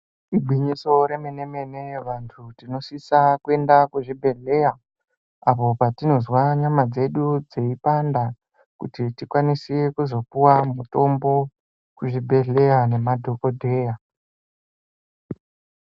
Igwinyiso remene-mene kuti vanthu tinosisa kuenda kuzvibhedhleya apo patinozwa nyama dzedu dzeipanda kuti tikwanise kuzopuwa mitombo kuzvibhedhleya nemadhokodheya.